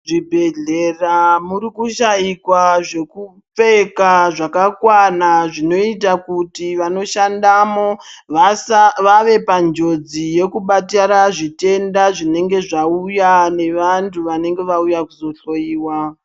Zvibhedhlera muri kushaikwa zvekupfeka zvakakwana zvinoita kuti vanoshandamo vave panjodzi yekubatira zvitenda zvinenge zvauya nevantu vanenge vauya kuzohloiwa.